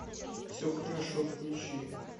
все хорошо включи